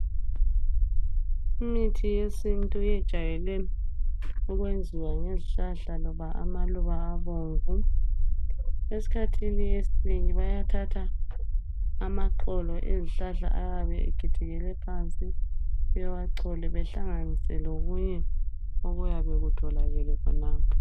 Imithi yesintu ijwayele ukwenziwa lezihlahla loba amaluba abomvu. Eskhathini eminengi bayathatha amaxolo ezihlahla ayabe ekhothikhele phansi bewaxole behlanganise lokunye okuyabe kutholakele khonapho.